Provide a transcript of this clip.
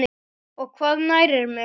og Hvað nærir mig?